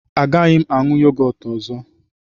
Agaghị m aṅụ yogọt ọzọ.